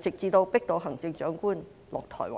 直至迫使行政長官下台為止？